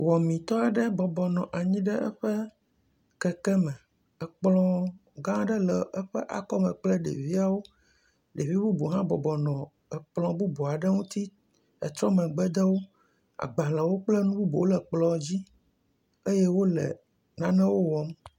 Wɔmetɔ aɖe bɔbɔnɔ anyi ɖe eƒe keke me. Ekplɔ gã aɖe le eƒe akɔme kple ɖeviawo. Ɖevi bubuwo hã bɔbɔnɔ ekplɔ bubu aɖe ŋuti etrɔ megbe de wo. Agbalewo kple nu bubuwo hã le kplɔ dzi eye wo le nanewo wɔm.